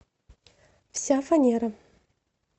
вся фанера